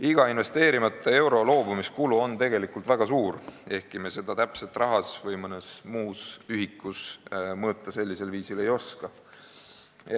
Iga investeerimata euro tekitab tegelikult väga suure kulu, ehkki me seda rahas või mõnes muus ühikus sellisel viisil täpselt mõõta ei oska.